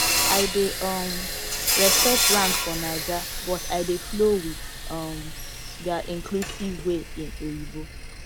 i dey um respect rank for naija but i dey flow with um their inclusive way in oyinbo